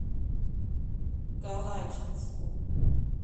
калачинску